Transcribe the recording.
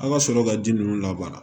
An ka sɔrɔ ka ji ninnu labaara